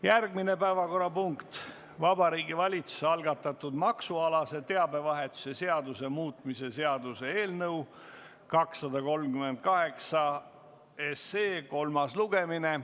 Järgmine päevakorrapunkt on Vabariigi Valitsuse algatatud maksualase teabevahetuse seaduse muutmise seaduse eelnõu 238 kolmas lugemine.